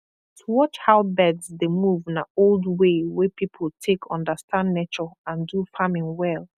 to watch how birds dey move na old way wey people take understand nature and do farming well